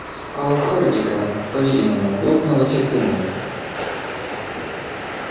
а у фордика по-видимому лопнуло терпение